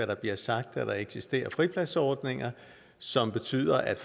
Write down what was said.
der bliver sagt at der eksisterer fripladsordninger som betyder at